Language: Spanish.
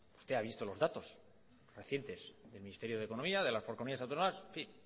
usted ha visto los datos recientes del ministerio de economía de las comunidades autónomas en fin